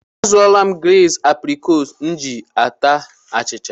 Azụọla m gleezi aprịkọọt m ji ata achịcha.